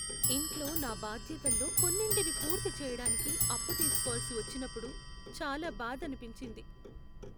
ఇంట్లో నా బాధ్యతల్లో కొన్నింటిని పూర్తిచేయడానికి అప్పు తీసుకోవలసి వచ్చినప్పుడు చాలా బాధనిపించింది.